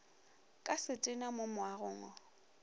ka setena mo moagong wo